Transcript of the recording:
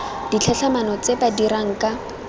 ditlhatlhamano tse ba dirang ka